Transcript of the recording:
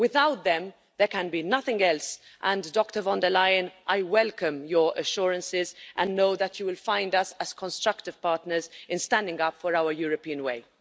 Without them, there can be nothing else and, Dr von der Leyen, I welcome your assurances and know that you will find us constructive partners in standing up for our European way.